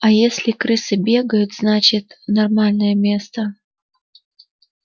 а если крысы бегают значит нормальное место